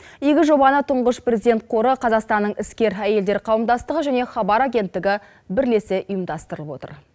игі жобаны тұңғыш президент қоры қазақстанның іскер әйелдер қауымдастығы және хабар агенттігі бірлесе ұйымдастырып отыр